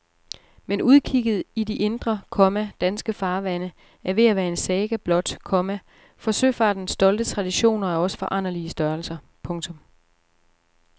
Men udkigget i de indre, komma danske farvande er ved at være en saga blot, komma for søfartens stolte traditioner er også foranderlige størrelser. punktum